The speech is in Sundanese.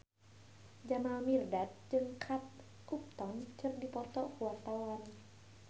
Jamal Mirdad jeung Kate Upton keur dipoto ku wartawan